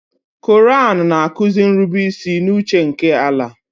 Koraan na-akuzi nrubeisi n'uche nke Allàh.